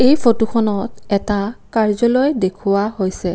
এই ফটোখনত এটা কাৰ্য্যালয় দেখুওৱা হৈছে।